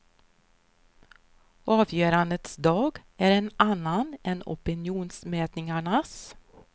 Avgörandets dag är en annan än opinionsmätningarnas.